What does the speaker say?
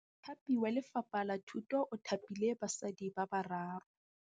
Mothapi wa Lefapha la Thutô o thapile basadi ba ba raro.